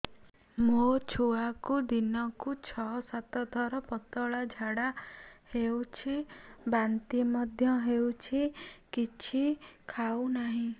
ମୋ ଛୁଆକୁ ଦିନକୁ ଛ ସାତ ଥର ପତଳା ଝାଡ଼ା ହେଉଛି ବାନ୍ତି ମଧ୍ୟ ହେଉଛି କିଛି ଖାଉ ନାହିଁ